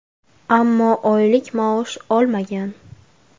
Ammo oylik maosh olmagan.